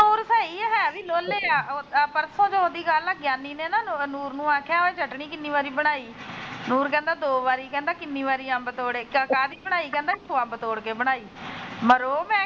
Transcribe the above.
ਹੈ ਵੀ ਲੋਲ ਆ ਪਰਸੋ ਚੋਥ ਦੀ ਗੱਲ ਗਿਆਨੀ ਨੇ ਨਾ ਨੂਰ ਨੂੰ ਆਖਿਆ ਉਹ ਚਟਨੀ ਕਿੰਨੀ ਵਾਰੀ ਬਣਾਈ ਨੂਰ ਕਹਿੰਦਾ ਦੋ ਵਾਰੀ ਕਹਿੰਦਾ ਕਿੰਨੀ ਵਾਰੀ ਅੰਬ ਤੋੜੇ ਕਾਹਦੀ ਬਣਾਈ ਕਹਿੰਦਾ ਅੰਬ ਤੋੜ ਕੇ ਬਣਾਈ।